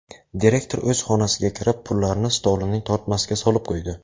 Direktor o‘z xonasiga kirib, pullarni stolining tortmasiga solib qo‘ydi.